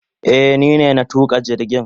Eh ni ne na tuka jirgin.